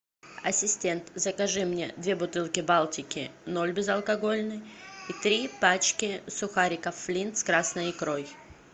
ассистент закажи мне две бутылки балтики ноль безалкогольной и три пачки сухариков флинт с красной икрой